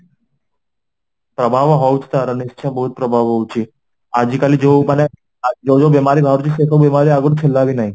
ପ୍ରଭାବ ହଉଚି ତାର ନିଶ୍ଚିୟ ବହୁତ ପ୍ରଭାବ ହଉଚି ଆଜିକାଲି ଯୋଉ ମାନେ ଆ ଯୋଉ ଯୋଉ ବେମାରୀ ବାହାରୁ ଚି ସେସବୁ ବେମାରୀ ଆଗରୁ ଥିଲା ବି ନାହିଁ